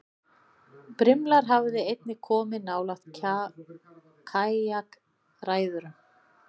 Brimlar hafa einnig komið nálægt kajakræðurum.